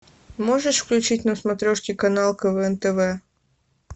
можешь включить на смотрешке канал квн тв